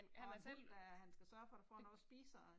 Og en hund æh han skal sørge for der får noget at spise og